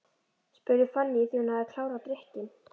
spurði Fanný þegar hún hafði klárað drykkinn.